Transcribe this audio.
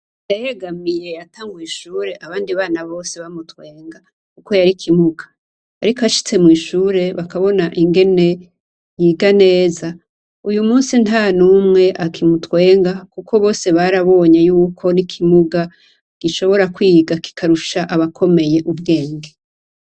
Ndahegamiye yatanguye ishuri abandi bana bose bamutwenga kuko yari ikimuga ariko ashitse mw'ishuri bakabona ingene yiga neza uyu munsi ntanumwe akimutwenga kuko bose barabonye yuko n'ikimuga gishobora kwiga kikarusha abakomeye ubwenge.